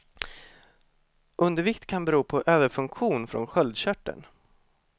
Undervikt kan bero på överfunktion från sköldkörteln.